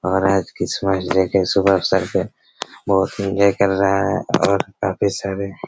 और आज Christmas day के शुभ अवसर पर बहुत ही सुन्दर कर रहा हैं और काफी सारे--